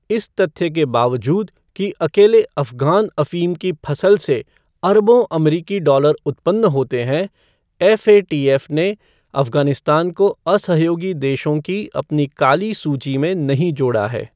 इस तथ्य के बावजूद कि अकेले अफ़गान अफ़ीम की फसल से अरबों अमरीकी डालर उत्पन्न होते हैं, एफ़एटीएफ़. ने अफ़गानिस्तान को असहयोगी देशों की अपनी काली सूची में नहीं जोड़ा है।